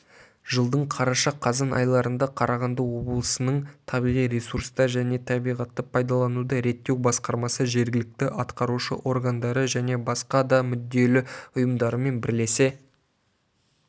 жылдың қараша-қазан айларында қарағанды облысының табиғи ресурстар және табиғатты пайдалануды реттеу басқармасы жергілікті атқарушы органдары және басқа да мүдделі ұйымдарымен бірлесе